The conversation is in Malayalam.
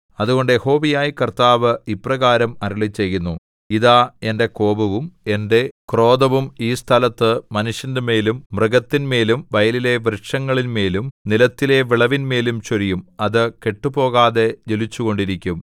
അതുകൊണ്ട് യഹോവയായ കർത്താവ് ഇപ്രകാരം അരുളിച്ചെയ്യുന്നു ഇതാ എന്റെ കോപവും എന്റെ ക്രോധവും ഈ സ്ഥലത്ത് മനുഷ്യന്റെമേലും മൃഗത്തിന്മേലും വയലിലെ വൃക്ഷങ്ങളിന്മേലും നിലത്തിലെ വിളവിന്മേലും ചൊരിയും അത് കെട്ടുപോകാതെ ജ്വലിച്ചുകൊണ്ടിരിക്കും